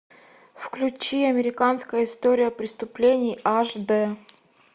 включи американская история преступлений аш д